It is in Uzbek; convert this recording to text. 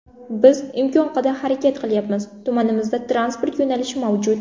Biz imkon qadar harakat qilyapmiz, tumanimizda transport yo‘nalishi mavjud.